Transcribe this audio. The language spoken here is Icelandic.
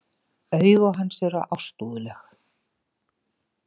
Augu hans eru ástúðleg.